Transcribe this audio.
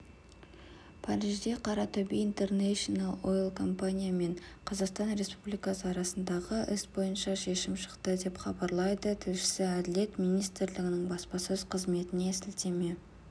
парижде қаратөбе интернэшнл ойл компани мен қазақстан республикасы арасындағы іс бойынша шешім шықты деп хабарлайды тілшісі әділет министрлігінің баспасөз қызметіне сілтеме